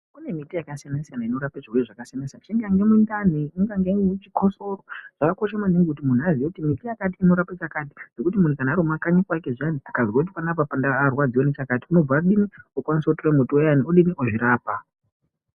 Kune miti yakasiyana-siyana inorape zvirwere zvakasiyana-siyana, ingaa yemundani, ingaa yechikosoro, zvakakosha maningi kuti muntu aziye kuti miti yakati inorape chakati, ngekuti muntu kana ari kumakanyi kwake akazwe kuti panapa ndarwadziwa ngechakati unokwanisa kutora muti uyani wozvirapa.